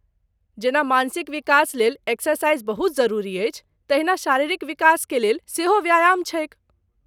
जेना मानसिक विकास लेल एक्सरसाइज बहुत जरुरी अछि तहिना शारीरिक विकास के लेल, सेहो व्यायाम छैक।